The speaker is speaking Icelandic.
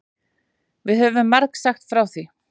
Við höfum margsagt frá því.